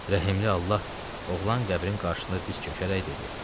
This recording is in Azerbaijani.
Rəhimli Allah, oğlan qəbrin qarşısında diz çökərək dedi: